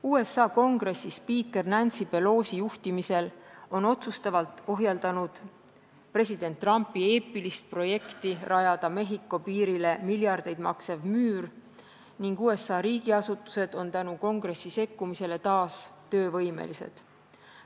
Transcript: USA Kongress spiiker Nancy Pelosi juhtimisel on otsustavalt ohjeldanud president Trumpi eepilist projekti rajada Mehhiko piirile miljardeid maksev müür ning USA riigiasutused on tänu kongressi sekkumisele taas töövõimelised.